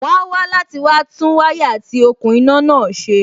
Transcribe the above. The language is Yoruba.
wón á wá láti wá tún wáyà àti òkun iná náà ṣe.